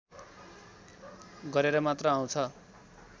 गरेर मात्र आउँछ